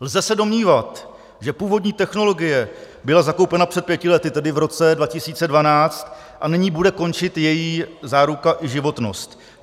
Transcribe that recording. Lze se domnívat, že původní technologie byla zakoupena před pěti lety, tedy v roce 2012, a nyní bude končit její záruka i životnost.